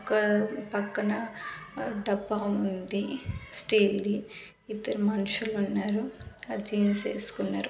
ఒక్క పక్కన డబ్బా ఉంది స్టీల్ ది ఇద్దరు మనుషులు ఉన్నారు అది జీన్స్ వేసుకున్నారు.